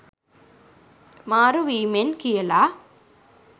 මාරු වීමෙන් කියලා.